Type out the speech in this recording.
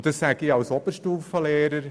Das sage ich als Oberstufenlehrer.